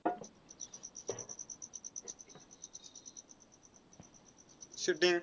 shooting